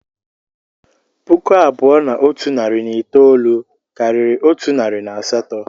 Puku abụọ na otu narị na itoolu karịrị otu narị na asatọ